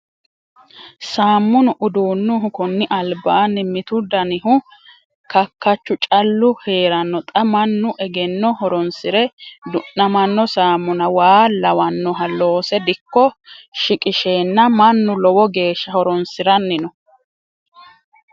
Samunu uduunuhu koni albaani mitu danihu kakkachu callu heerano xa mannu egeno horonsire du'namano saamuna waa lawanoha loosse dikko shiqqishenna mannu lowo geeshsha horonsiranni no.